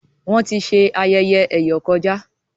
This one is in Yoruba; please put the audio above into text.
Wón tí ṣe ayẹyẹ eyọ kọjá